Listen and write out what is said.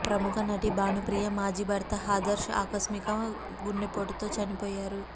ప్రముఖ నటి భానుప్రియ మాజీ భర్త ఆదర్శ్ ఆకస్మిక గుండెపోటుతో చనిపోయారు